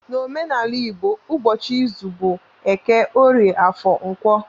N'omenala igbo ụbọchị izu bụ eke, orie, afọ, nkwọ